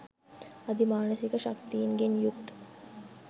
අධි මානසික ශක්තීන්ගෙන් යුත්